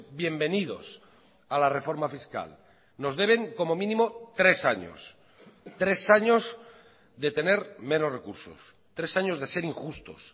bienvenidos a la reforma fiscal nos deben como mínimo tres años tres años de tener menos recursos tres años de ser injustos